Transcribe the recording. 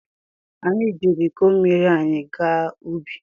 Anyị jiiri iko mmiri anyị gaa ubi.